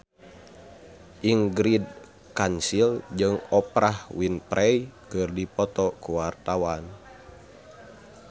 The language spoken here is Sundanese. Ingrid Kansil jeung Oprah Winfrey keur dipoto ku wartawan